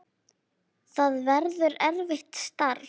Það verður erfitt starf.